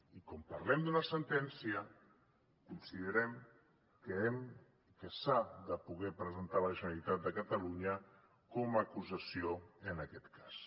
i com parlem d’una sentència considerem que hem que s’ha de poder presentar la generalitat de catalunya com a acusació en aquest cas